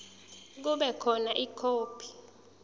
kube khona ikhophi